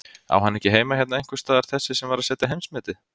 Á hann ekki heima hérna einhversstaðar þessi sem var að setja heimsmetið?